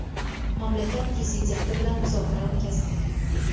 mamlakat Prezidenti bilan muzokara o‘tkazdi.